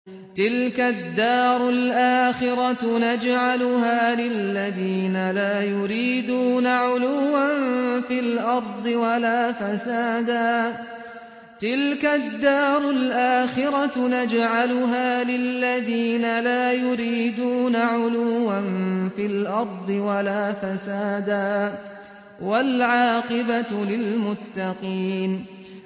تِلْكَ الدَّارُ الْآخِرَةُ نَجْعَلُهَا لِلَّذِينَ لَا يُرِيدُونَ عُلُوًّا فِي الْأَرْضِ وَلَا فَسَادًا ۚ وَالْعَاقِبَةُ لِلْمُتَّقِينَ